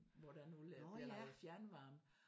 Nåh ja!